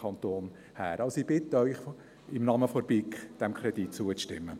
Ich bitte Sie im Namen der BiK, diesem Kredit zuzustimmen.